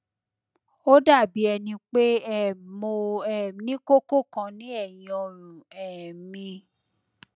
ó dàbí ẹni pé um mo um ní kókó kan ní ẹyìn ọrùn um mi